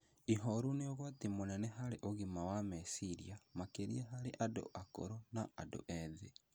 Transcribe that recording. Ihooru nĩ ũgwati mũnene harĩ ũgima wa meciria, makĩria harĩ andũ akũrũ na andũ ethĩ.